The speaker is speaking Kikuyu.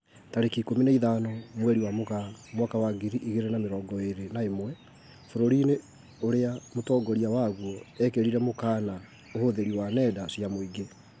Tarĩki ikũmi na ithano mweri wa Mũgaa mwaka wa ngiri igĩrĩ na mĩrongo ĩrĩ na ĩmwe, bũrũri-inĩ ũrĩa mũtongoria waguo ekĩrirĩre mũkana ũhũthĩri wa nenda cia mũingĩ